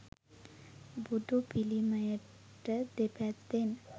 බුදු පිළිමයට දෙපැත්තෙන්